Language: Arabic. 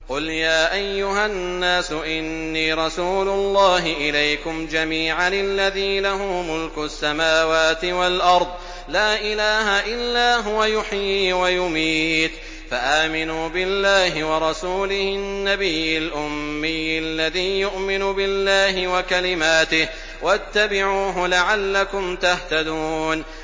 قُلْ يَا أَيُّهَا النَّاسُ إِنِّي رَسُولُ اللَّهِ إِلَيْكُمْ جَمِيعًا الَّذِي لَهُ مُلْكُ السَّمَاوَاتِ وَالْأَرْضِ ۖ لَا إِلَٰهَ إِلَّا هُوَ يُحْيِي وَيُمِيتُ ۖ فَآمِنُوا بِاللَّهِ وَرَسُولِهِ النَّبِيِّ الْأُمِّيِّ الَّذِي يُؤْمِنُ بِاللَّهِ وَكَلِمَاتِهِ وَاتَّبِعُوهُ لَعَلَّكُمْ تَهْتَدُونَ